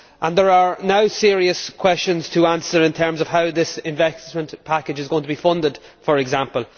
There are now serious questions to answer in terms of how this investment package is going to be funded, for example.